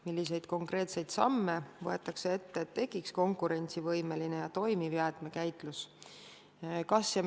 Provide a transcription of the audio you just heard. Milliseid konkreetseid samme võetakse ette, et tekiks konkurentsivõimeline ja toimiv jäätmekäitlus?